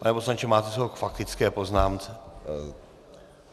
Pane poslanče, máte slovo k faktické poznámce.